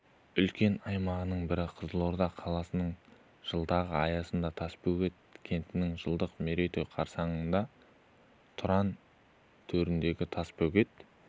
үлкен аймағының бірі қызылорда қаласының жылдығы аясында тасбөгет кентінің жылдық мерейтойы қарсаңында тұран төріндегі тасбөгет